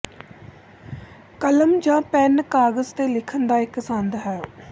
ਕਲਮ ਜਾਂ ਪੈੱਨ ਕਾਗਜ਼ ਤੇ ਲਿਖਣ ਦਾ ਇੱਕ ਸੰਦ ਹੈ